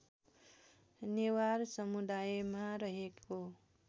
नेवार समुदायमा रहेको